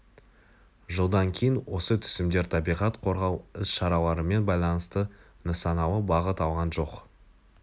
жылдан кейін осы түсімдер табиғат қорғау іс-шараларымен байланысты нысаналы бағыт алған жоқ